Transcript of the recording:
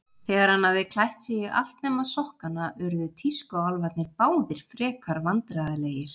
Þegar hann hafði klætt sig í allt nema sokkana uðru tískuálfarnir báðir frekar vandræðalegir.